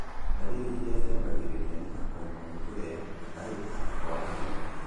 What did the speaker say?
Ndariri irĩa ciambagĩrĩria nĩta kũremwo nĩ kũrĩa, gũtahĩka na kwaga hinya